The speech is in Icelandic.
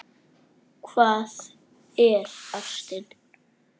Hvað er ástin?